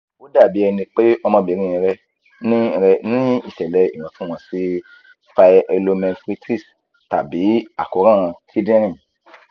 ó dàbí ẹni pé ọmọbìnrin rẹ ní rẹ ní ìṣẹ̀lẹ̀ ìwọ̀ntúnwọ̀nsì pyelonephritis tàbí àkóràn kidinrin